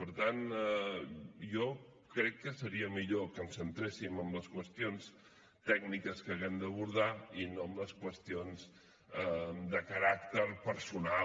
per tant jo crec que seria millor que ens centréssim en les qüestions tècniques que haguem d’abordar i no en les qüestions de caràcter personal